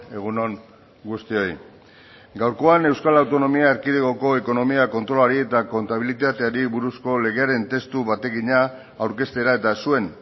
egun on guztioi gaurkoan euskal autonomia erkidegoko ekonomia kontrolari eta kontabilitateari buruzko legearen testu bategina aurkeztera eta zuen